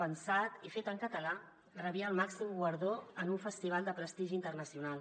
pensat i fet en català rebia el màxim guardó en un festival de prestigi internacional